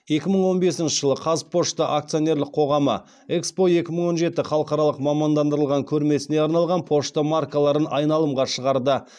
екі мың он бесінші жылы қазпошта акционерлік қоғамы экспо екі мың он жеті халықаралық мамандандырылған көрмесіне арналған пошта маркаларын айналымға шығарды